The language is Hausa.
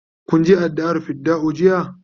kun Je addu'a r fidda'u jiya?